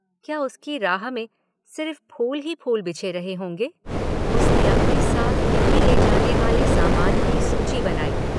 क्या उसकी राह में सिर्फ फूल ही फूल बिछे रहे होंगे, उसने अपने साथ दिल्ली ले जानेवाले सामान की सूची बनाई